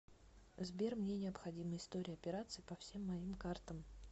сбер мне необходима история операций по всем моим картам